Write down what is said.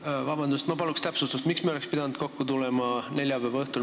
Palun vabandust, ma paluks täpsustust, miks me oleks pidanud kokku tulema neljapäeva õhtul.